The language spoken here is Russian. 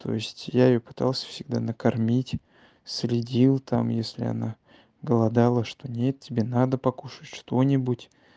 то есть я её пытался всегда накормить среди у там если она голодала что нет тебе надо покушать что-нибудь